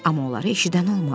Amma onu eşidən olmadı.